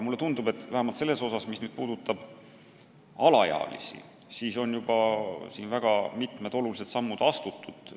Mulle tundub, et vähemalt selles osas, mis puudutab alaealisi, on juba mitmed olulised sammud astutud.